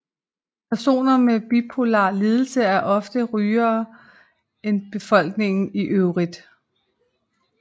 Personer med bipolar lidelse er oftere rygere end befolkningen i øvrigt